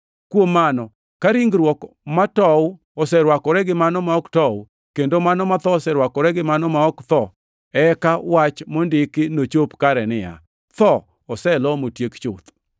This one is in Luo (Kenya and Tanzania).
Kuom mano, ka ringruok matow oserwakore gi mano ma ok tow, kendo mano matho oserwakore gi mano ma ok tho, eka wach mondiki nochop kare, niya, “Tho oselo motiek chuth.” + 15:54 \+xt Isa 25:8\+xt*